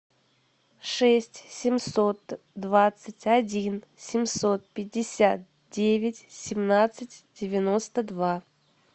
шесть семьсот двадцать один семьсот пятьдесят девять семнадцать девяносто два